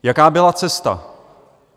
Jaká byla cesta?